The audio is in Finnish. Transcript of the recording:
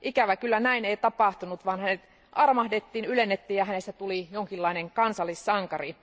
Ikävä kyllä näin ei tapahtunut, vaan hänet armahdettiin, ylennettiin, ja hänestä tuli jonkinlainen kansallissankari.